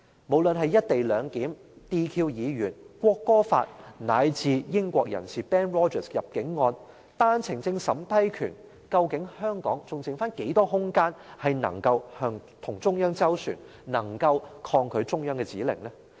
無論是"一地兩檢"、撤銷議員資格、《國歌法》，乃至英國人士 Benedict ROGERS 入境案，以及單程證審批權，究竟香港還餘下多少空間能夠與中央斡旋，能夠抗拒中央的指令？